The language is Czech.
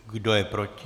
Kdo je proti?